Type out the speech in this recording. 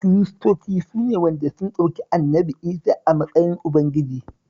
Kiristoci su ne waɗanda sun ɗauki Annabi Isah a matsayin Ubangiji